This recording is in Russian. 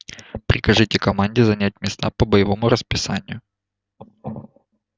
прикажите команде занять места по боевому расписанию